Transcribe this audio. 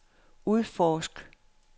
udforsk